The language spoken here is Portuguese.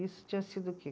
Isso tinha sido o quê?